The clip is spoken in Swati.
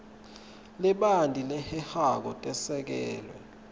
lebanti lehehako tesekelwe